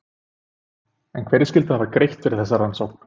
En hverjir skyldu hafa greitt fyrir þessa rannsókn?